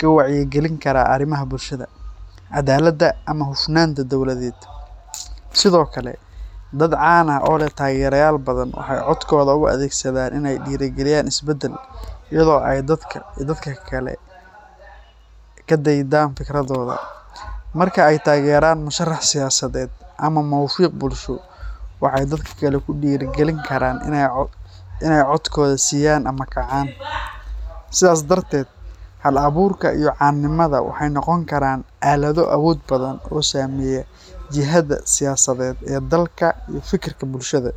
ka wacyigelin kara arrimaha bulshada, cadaaladda, ama hufnaanta dowladeed. Sidoo kale, dad caan ah oo leh taageerayaal badan waxay codkooda u adeegsadaan in ay dhiirrigeliyaan isbeddel, iyadoo ay dadka kale ka daydaan fikirradooda. Marka ay taageeraan musharax siyaasadeed ama mowqif bulsho, waxay dadka kale ku dhiirrigelin karaan inay codkooda siiyaan ama kacaan. Sidaas darteed, hal-abuurka iyo caanimada waxay noqon karaan aalado awood badan oo saameeya jihada siyaasadeed ee dalka iyo fikirka bulshada.